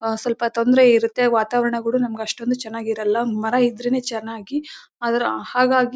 ಹಾ ಸ್ವಲ್ಪ ತೊಂದರೆ ಇರುತ್ತೆ ವಾತಾವರಣ ಕೂಡ ನಮಗೆ ಅಷ್ಟೊಂದು ಚೆನ್ನಾಗಿರಲ್ಲ ಮರ ಇದ್ರೇನೆ ಚೆನ್ನಾಗಿ ಅದರ ಹಾಗಾಗಿ--